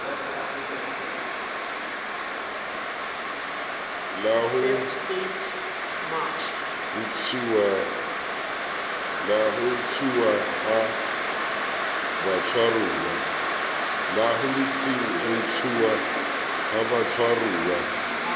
la ho ntshuwa ha batshwaruwa